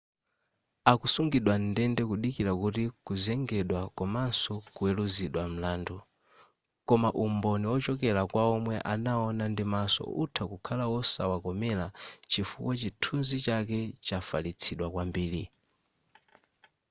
akusungidwa mndende kudikira kuti kuzengedwa komaso kuweruzidwa mlandu koma umboni ochokera kwaomwe anawona ndimaso utha kukhala wosawakomera chifukwa chithunzi chake chafalitsidwa kwambiri